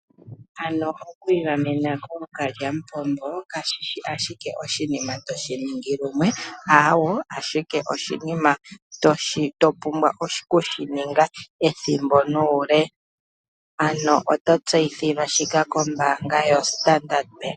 Oku igamena kookalyamupombo kashi shi ashike oshinima toshi ningi lumwe, aawo, oshinima to pumbwa okushi ninga ethimbo nuule. Ano oto tseiyithilwa shika kombaanga yoStandard Bank.